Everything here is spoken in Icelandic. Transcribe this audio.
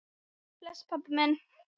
Bless, pabbi minn.